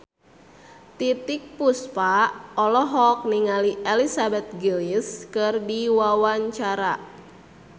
Titiek Puspa olohok ningali Elizabeth Gillies keur diwawancara